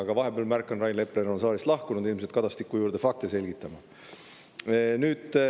Aga ma märkan, et vahepeal on Rain Epler saalist lahkunud, ilmselt Kadastiku juurde fakte selgitama.